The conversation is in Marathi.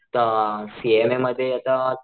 अ सीएमए मध्ये आता